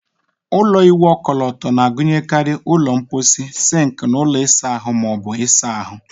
Ụlọ ịwụ ọkọlọtọ na-agụnyekarị ụlọ mposi, sink, na ụlọ isa ahụ ma ọ bụ ịsa ahụ.